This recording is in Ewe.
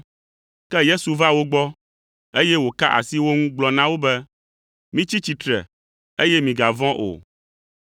Ke Yesu va wo gbɔ, eye wòka asi wo ŋu gblɔ na wo be, “Mitsi tsitre, eye migavɔ̃ o.”